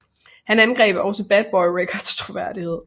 Han angreb også Bad Boy Records troværdighed